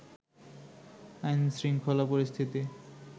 আইনশৃঙ্খলা পরিস্থিতি